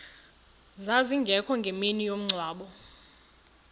zazingekho ngemini yomngcwabo